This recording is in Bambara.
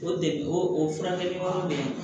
O degu o furakɛli yɔrɔ minɛ